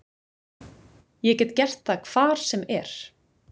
Ég get gert það hvar sem er.